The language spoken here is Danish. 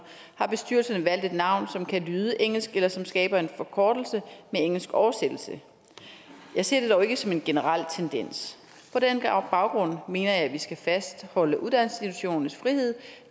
har bestyrelserne valgt et navn som kan lyde engelsk eller som skaber en forkortelse med engelsk oversættelse jeg ser det dog ikke som en generel tendens på den baggrund mener jeg at vi skal fastholde uddannelsesinstitutionernes frihed